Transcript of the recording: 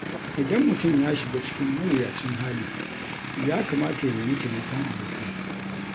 Idan mutum ya shiga cikin mawuyacin hali, ya kamata ya nemi taimakon abokai.